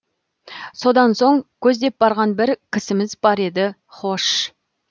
содан соң көздеп барған бір кісіміз бар еді хош